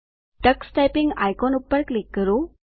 Tux typing icon પર click કરો